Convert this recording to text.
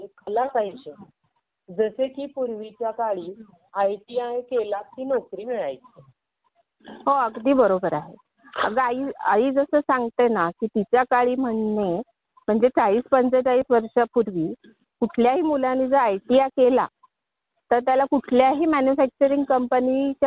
हो म्हणजे कोणतेही शिक्षण घेताना ते व्यावहारिक दृष्टीने घेतले पाहिजे तुमच्या हातामध्ये कला पाहिजे जसे पूर्वीच्या आयटीआय केलं की नोकरी मिळायची.